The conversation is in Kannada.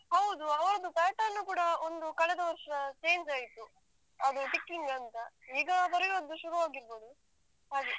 ಹೌದು ಅವ್ರದ್ದು pattern ಕೂಡ ಒಂದು ಕಳೆದ ವರ್ಷ change ಆಯ್ತು. ಅದು ticking ಅಂತ, ಈಗ ಬರಿಯುದ್ದು ಶುರು ಆಗಿರ್ಬೋದು